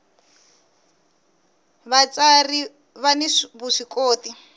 vatsari vani vuswikoti